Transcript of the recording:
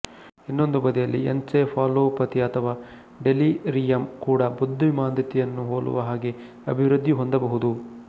ಇನ್ನೊಂದು ಬದಿಯಲ್ಲಿ ಎನ್ಸೆಫಾಲೊಪಥಿ ಅಥವಾ ಡೆಲಿರಿಯಂ ಕೂಡ ಬುದ್ಧಿಮಾಂದ್ಯತೆಯನ್ನು ಹೊಲುವ ಹಾಗೆ ಅಭಿವೃದ್ಧಿ ಹೊಂದಬಹುದು